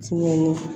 Tiɲɛli